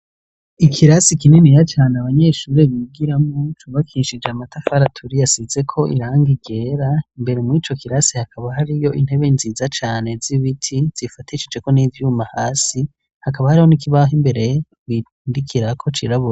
Ikirasi kininiya cane abanyeshuri bigiramwo, cubakishije amatafari aturiye asizeko irangi ryera, imbere mw'ico kirasi hakaba hariyo intebe nziza cane z'ibiti zifatishijeko n'ivyuma hasi, hakaba hariho n'ikibaho imbere bigirako cirabura.